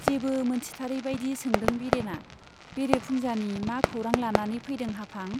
जेबो मोनथिथारै बाइदि सोंदों बिरेना, बेरे फुंजानि मा खौरां लानानै फैदों हाफां ?